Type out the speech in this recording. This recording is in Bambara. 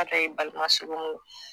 A dɔw ye balimasurunuw